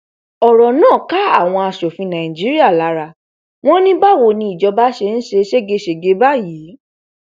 ọrọ náà ká àwọn asòfin nàìjíríà lára wọn ní báwo ni ìjọba yìí ṣe ń ṣe ségesège báyìí